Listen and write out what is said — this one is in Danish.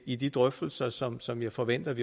i de drøftelser som som jeg forventer